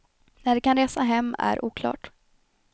När de kan resa hem är oklart.